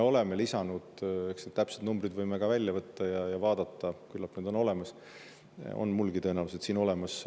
Eks need täpsed numbrid võime ka välja võtta ja vaadata neid, küllap need on olemas, on mulgi tõenäoliselt siin olemas.